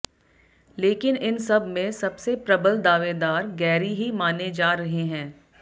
लेकिन इन सब में सबसे प्रबल दावेदार गैरी ही माने जा रहे हैं